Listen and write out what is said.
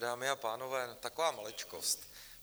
Dámy a pánové, taková maličkost.